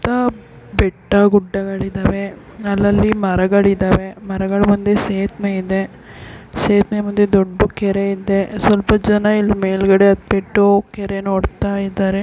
ಬೆಟ್ಟಗುಡ್ಡ ಗಳಿದವೇ ಅಲ್ಲಲ್ಲಿ ಮರಗಳಿದವೇ ಮರಗಳ ಮುಂದೆ ಸೇತುವೆ ಇದೆ ಸೇತುವೆ ಮುಂದೆ ದೊಡ್ಡ ಕೆರೆ ಇದೆ ಸ್ವಲ್ಪ ಜನ ಇಲ್ಲಿ ಮೇಲಗಡೆ ಹತ್ತಿ ಬಿಟ್ಟು ಕೆರೆನ್ನು ನೋಡ್ತಾ ಇದ್ದಾರೆ.